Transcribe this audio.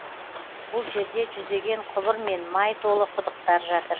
бұл жерде жүздеген құбыр мен май толы құдықтар жатыр